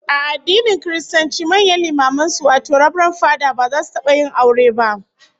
A addinin Kiristanci, manyan limaman sucwato rabaran fada ba za su taba yin aure ba